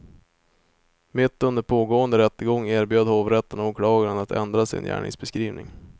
Mitt under pågående rättegång erbjöd hovrätten åklagaren att ändra sin gärningsbeskrivning.